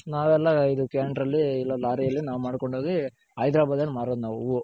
ನಾವೆಲ್ಲಾ ಇದು ಕ್ಯಾಂಟರಲ್ಲಿ ಇಲ್ಲ ಲಾರಿ ಅಲ್ಲಿ ನಾವ್ ಮಾಡ್ಕೊಂಡ್ ಹೋಗಿ ಹೈದರಾಬಾದ್ ಅಲ್ ಮಾರೋದ್ ನಾವು ಹೂ